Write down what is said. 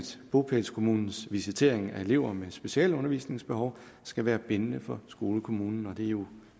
bopælskommunens visitering af elever med specialundervisningsbehov skal være bindende for skolekommunen og det er jo